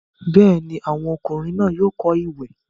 bẹ́ẹ̀ni, àwọn ọmọkùnrin náà yóò kọ́ ìwẹ̀.